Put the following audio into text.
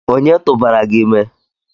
onye tụbara gi ime?